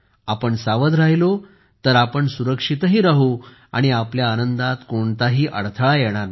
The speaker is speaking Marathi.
आपण सावध राहिलो तर आपण सुरक्षितही राहू आणि आपल्या आनंदात कोणताही अडथळा येणार नाही